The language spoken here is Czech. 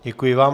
Děkuji vám.